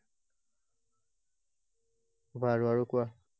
বাৰু আৰু কোৱা।